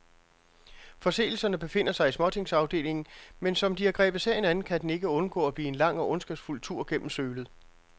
Forseelserne befinder sig i småtingsafdelingen, men som de har grebet sagen an, kan den ikke undgå at blive en lang og ondskabsfuld tur gennem sølet.